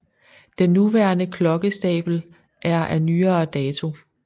Den nuværende klokkestabel er af nyere dato